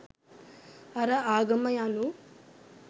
අර ආගම යනු